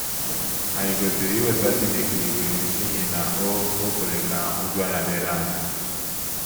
Ànyị kwesịrị iwesa Chineke iwe n’ihi na o o kwere ka nhụjuanya dịrị anyị.